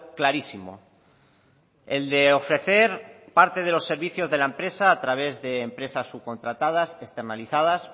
clarísimo el de ofrecer parte de los servicios de la empresa a través de empresas subcontratadas externalizadas